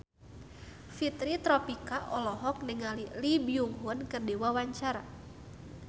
Fitri Tropika olohok ningali Lee Byung Hun keur diwawancara